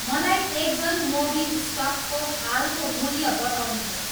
मलाई Exxon Mobil स्टकको हालको मूल्य बताउनुहोस्